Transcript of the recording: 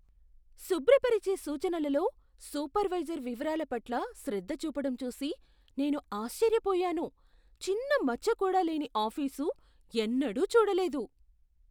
శుభ్రపరిచే సూచనలలో సూపర్వైజర్ వివరాల పట్ల శ్రద్ధ చూపడం చూసి నేను ఆశ్చర్యపోయాను. చిన్న మచ్చకూడా లేని ఆఫీసు ఎన్నడూ చూడలేదు!